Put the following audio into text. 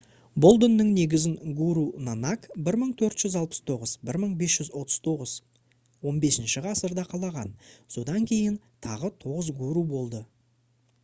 бұл діннің негізін гуру нанак 1469-1539 15-ші ғасырда қалаған. содан кейін тағы 9 гуру болды